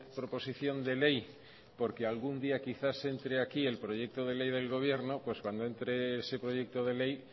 proposición de ley porque algún día quizás entre aquí el proyecto de ley del gobierno pues cuando entre ese proyecto de ley